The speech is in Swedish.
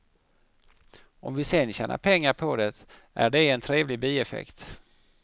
Om vi sen tjänar pengar på det är det en trevlig bieffekt.